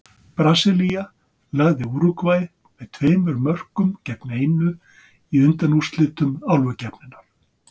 Brasilía lagði Úrúgvæ með tveimur mörkum gegn einu í undanúrslitum Álfukeppninnar.